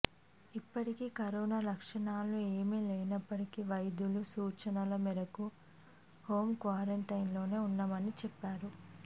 ఇప్పటికి కరోనా లక్షణాలు ఏమీ లేనప్పటికీ వైద్యుల సూచనల మేరకి హోమ్ క్వారంటైన్లోనే ఉన్నామని చెప్పారు